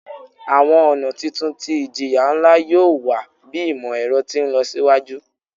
Awọn ọna titun ti ijiya nla yoo wa bi imọ-ẹrọ ti nlọsiwaju